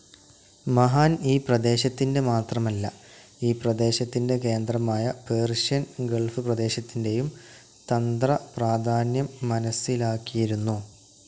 മഹാൻ ഈ പ്രദേശത്തിൻ്റെ മാത്രമല്ല ഈ പ്രദേശത്തിൻ്റെ കേന്ദ്രമായ പേർഷ്യൻ ഗൾഫ്‌ പ്രദേശത്തിൻ്റെയും തന്ത്രപ്രാധാന്യം മനസിലാക്കിയിരുന്നു.